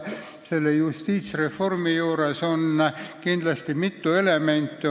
Nende justiitsreformi idee sisaldab erinevaid elemente.